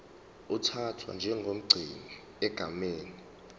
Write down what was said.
uthathwa njengomgcini egameni